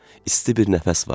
İsti bir nəfəs vardı.